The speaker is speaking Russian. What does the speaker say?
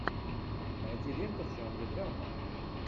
найди ленту в жанре драма